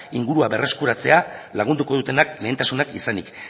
ingurua berreskuratzea lagunduko dutenak lehentasunak izanik